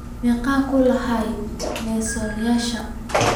Immisa kulan ayuu Nelson yeeshay?